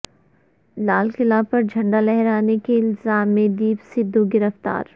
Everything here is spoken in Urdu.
لال قلعہ پر جھنڈا لہرانے کے الزام میں دیپ سدھو گرفتار